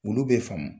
Olu bɛ faamu